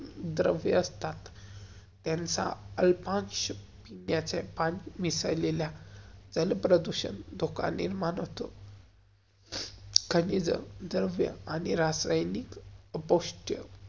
द्रव्य असतात. त्यांचा अल्पांश विसरलेल्या जलप्रदूषण, जो कालीन मानव्तो. द्रव्य आणि रासायनिक उपशत्य.